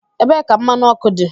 Ebee ka mmanụ ọkụ dị?